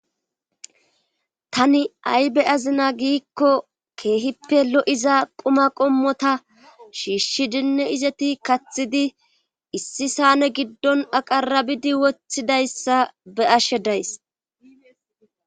Tani ay be azina giikko keehippe lo7iza quma qommota shiishshidinne izeti kathidi issi saane giddon aqarabidi wothidayssa be ashe days.